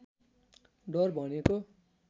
डर भनेको